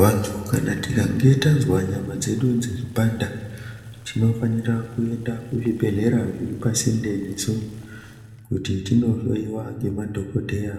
Vandu kana tikange tanzwa nyama dzedu dzeyipanda ,tinofanirwa kuenda kuzvibhedhlera zviri pasinde nesu kuti tinohloyiwa nemadhokodheya